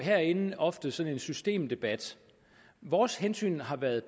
herinde ofte sådan en systemdebat vores hensyn har været